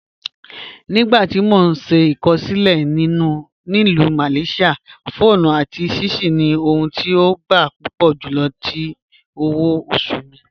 Nígbàtí mó n ṣè ikọṣẹ mi ni Ilù Malaysia, pho àti sushi ni ohùn tí ó gbà púpọ̀ júlọ̀ tí òwò-ọ̀ṣù mi.